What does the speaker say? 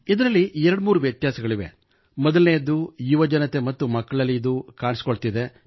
ಇದರಲ್ಲಿ 23 ವ್ಯತ್ಯಾಸಗಳಿವೆ ಮೊದಲನೇಯದ್ದು ಯುವಜನತೆ ಮತ್ತು ಮಕ್ಕಳಲ್ಲಿ ಇದು ಕಾಣಿಸಿಕೊಳ್ಳುತ್ತಿದೆ